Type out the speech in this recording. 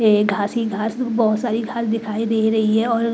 ये घासी घास ब्ब बहुत सारी घास दिखाई दे रही है और --